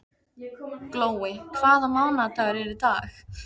Glói, hvaða mánaðardagur er í dag?